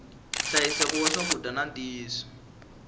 nhlayiseko wa swakudya na ntiyisiso